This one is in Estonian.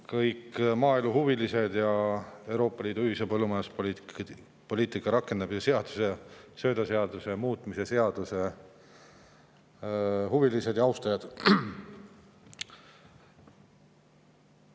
Kõik maaeluhuvilised ja Euroopa Liidu ühise põllumajanduspoliitika rakendamise seaduse ja söödaseaduse muutmise seaduse huvilised ja austajad!